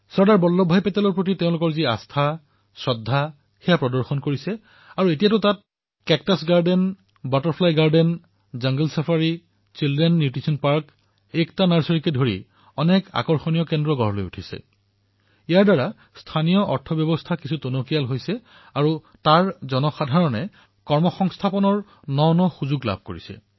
চৰ্দাৰ বল্লভভাই পেটেলৰ প্ৰতি যি আস্থা শ্ৰদ্ধা আছে সেয়া প্ৰকট হৈছে আৰু এতিয়া ইয়াত কেকটাছ উদ্যান পখিলা উদ্যান জাংগল ছাফাৰী শিশু পুষ্টি উদ্যান একতা নাৰ্ছাৰী আদি অনেক আকৰ্ষণীয় কেন্দ্ৰ ক্ৰমান্বয়ে বিকশিত হবলৈ ধৰিছে আৰু ইয়াৰ দ্বাৰা স্থানীয় অৰ্থব্যৱস্থাও সমৃদ্ধ হৈছে জনসাধাৰণতে উপাৰ্জনৰ নতুন অৱকাশ লাভ কৰিছে